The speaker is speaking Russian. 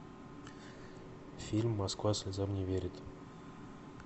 фильм москва слезам не верит